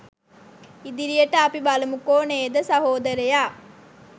ඉදිරියට අපි බලමුකෝ නේද සහෝදරයා